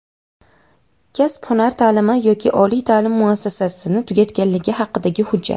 kasb-hunar ta’limi yoki oliy ta’lim muassasasini tugatganligi haqidagi hujjat;.